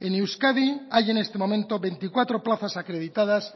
en euskadi hay en este momento veinticuatro plazas acreditadas